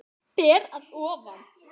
Ber að ofan.